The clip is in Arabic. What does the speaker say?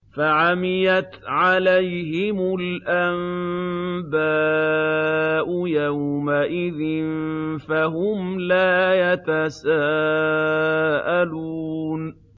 فَعَمِيَتْ عَلَيْهِمُ الْأَنبَاءُ يَوْمَئِذٍ فَهُمْ لَا يَتَسَاءَلُونَ